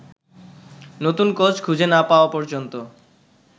নতুন কোচ খুঁজে না পাওয়া পর্যন্ত